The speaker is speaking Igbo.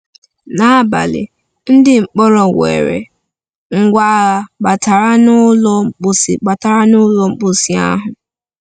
N’abalị, ndị mkpọrọ nwere ngwa agha batara n’ụlọ mposi batara n’ụlọ mposi ahụ.